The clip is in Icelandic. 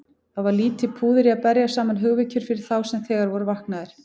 Það var lítið púður í að berja saman hugvekjur fyrir þá sem þegar voru vaknaðir.